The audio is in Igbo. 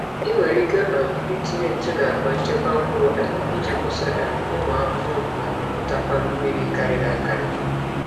Ị nwere ike um itinye ntụ n’akpa nchekwa mkpụrụ um iji kwụsị um ụmụ ahụhụ ma mipụtakwa mmiri karịrị akarị.